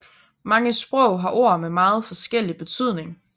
Mange sprog har ord med meget forskellig betydning